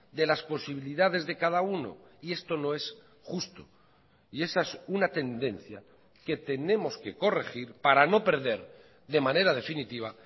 de las posibilidades de cada uno y esto no es justo y esa es una tendencia que tenemos que corregir para no perder de manera definitiva